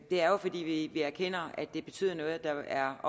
er jo fordi vi erkender at det betyder noget at der er